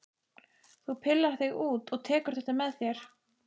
Þú pillar þig út og tekur þetta með þér!